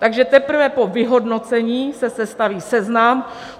Takže teprve po vyhodnocení se sestaví seznam.